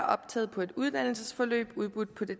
optaget på et uddannelsesforløb udbudt på det